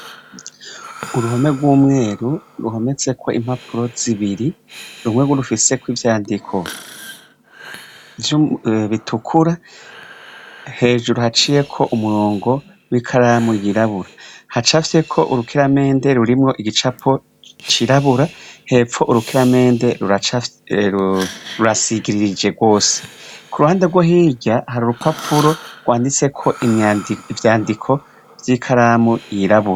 Uruhome rw'umweru ruhometseko impapuro zibiri rumwegu rufiseko ivyandiko vyubitukura hejuru haciyeko umurongo w'ikaramu yirabura hacafye ko urukiramende rurimwo igicapo cirabura hepfo urukiramende rurasigiririje rwose ku ruhande rwo hirya hari urupapuro rwanditseko vyandiko vy'i karamu yirabo.